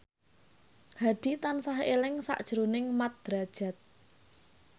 Hadi tansah eling sakjroning Mat Drajat